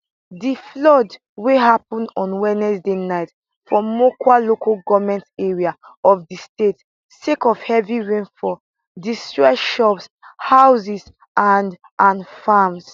di flood wey happun on wednesday night for mokwa local goment area of di state sake of heavy rainfall destroy shops houses and and farms